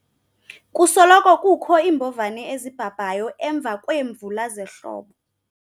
kusoloko kukho iimbovane ezibhabhayo emva kweemvula zehlobo